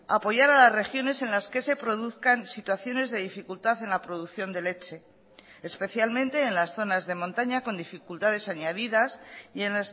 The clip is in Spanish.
a apoyar a las regiones en las que se produzcan situaciones de dificultad en la producción de leche especialmente en las zonas de montaña con dificultades añadidas y en